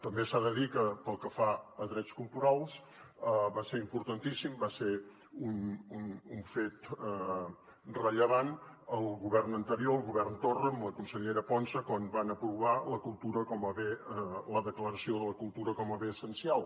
també s’ha de dir que pel que fa a drets culturals va ser importantíssim va ser un fet rellevant al govern anterior al govern torra amb la consellera ponsa quan van aprovar la declaració de la cultura com a bé essencial